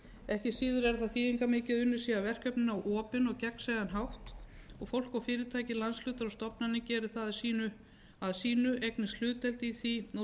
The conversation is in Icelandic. ekki síður er þýðingarmikið að unnið sé að verkefninu á opinn og gegnsæjan hátt og að fólk og fyrirtæki landshlutar og stofnanir geri það að sínu eignist hlutdeild í því og